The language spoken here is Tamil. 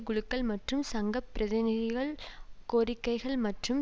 குழுக்கள் மற்றும் சங்க பிரதிநிதிகள் கோரிக்கைகள் மற்றும்